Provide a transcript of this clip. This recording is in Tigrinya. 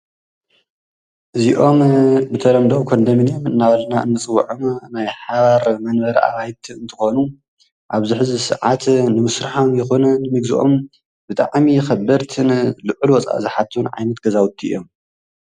እዚኦም ብተለምዶ ኮንደሚኒየም እናበልና እንፅውዖም ናይ ሓባር መንበሪ አበይቲ እንትኮኑ አብዚ ሕዚ ሰዓት ንምስርሖም ይኩን ንምግዘኦም ብጣዕሚ ከበድቲን ልዑል ወፃኢ ዝሓቱ ዓይነት ገዛውቲ እዮም፡፡